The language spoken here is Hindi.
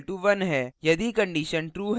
यदि condition true है तो